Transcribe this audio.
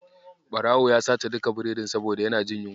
Ɓarawon ya sace duka biredin saboda yana jin yunwa.